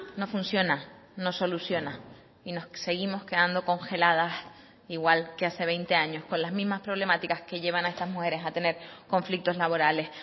no funciona no soluciona y nos seguimos quedando congeladas igual que hace veinte años con las mismas problemáticas que llevan a estas mujeres a tener conflictos laborales